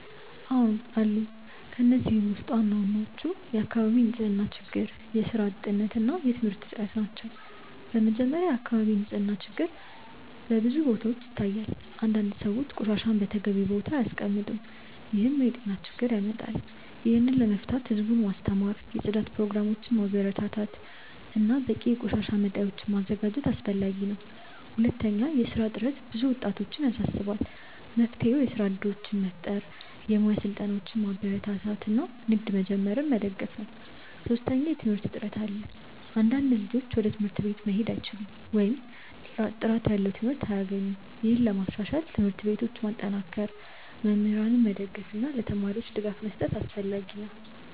አዎን አሉ። ከእነዚህ ውስጥ ዋናዎቹ የአካባቢ ንፅህና ችግር፣ የስራ እጥረት እና የትምህርት እጥረት ናቸው። በመጀመሪያ፣ የአካባቢ ንፅህና ችግር በብዙ ቦታዎች ይታያል። አንዳንድ ሰዎች ቆሻሻን በተገቢው ቦታ አያስቀምጡም፣ ይህም ለጤና ችግር ያመጣል። ይህን ለመፍታት ህዝቡን ማስተማር፣ የጽዳት ፕሮግራሞችን ማበረታታት እና በቂ የቆሻሻ መጣያዎችን ማዘጋጀት አስፈላጊ ነው። ሁለተኛ፣ የስራ እጥረት ብዙ ወጣቶችን ያሳስባል። መፍትሄው የስራ እድሎችን መፍጠር፣ የሙያ ስልጠናዎችን ማበረታታት እና ንግድ መጀመርን መደገፍ ነው። ሶስተኛ፣ የትምህርት እጥረት አለ። አንዳንድ ልጆች ወደ ትምህርት ቤት መሄድ አይችሉም ወይም ጥራት ያለው ትምህርት አያገኙም። ይህን ለማሻሻል ትምህርት ቤቶችን ማጠናከር፣ መምህራንን መደገፍ እና ለተማሪዎች ድጋፍ መስጠት አስፈላጊ ነው።